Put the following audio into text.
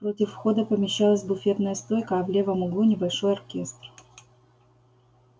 против входа помещалась буфетная стойка а в левом углу небольшой оркестр